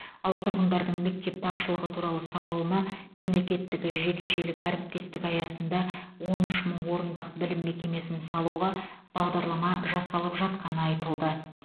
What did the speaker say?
ал тұрғындардың мектеп тапшылығы туралы сауалына мемлекеттік жекешелік әріптестік аясында он үш мың орындық білім мекемесін салуға бағдарлама жасалып жатқаны айтылды